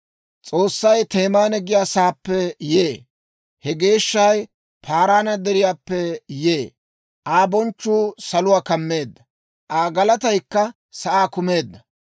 S'oossay Temaana giyaa sa'aappe yee; He Geeshshay Paaraana Deriyaappe yee. Aa bonchchuu saluwaa kammeedda; Aa galataykka sa'aa kumeedda.